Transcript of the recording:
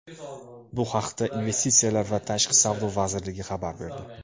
Bu haqda Investitsiyalar va tashqi savdo vazirligi xabar berdi .